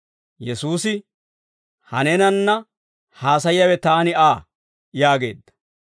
Yesuusi, «Ha neenanna haasayiyaawe taani Aa» yaageedda.